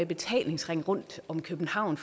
betalingsring rundt om københavn